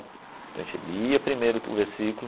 Então a gente lia primeiro o versículo.